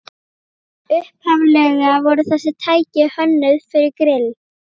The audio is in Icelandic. Upphaflega voru þessi tæki hönnuð fyrir grill